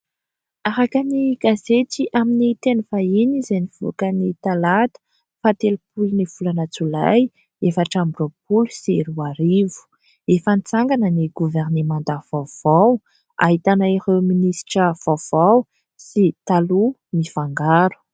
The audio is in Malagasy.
Araka ny gazety amin'ny teny vahiny izay nivoaka ny talata faha telopolo ny volana jolay efatra amby roapolo sy roa arivo. Efa nitsangana ny goverinemanta vaovao ahitana ireo minisitra vaovao sy taloha mifangaro.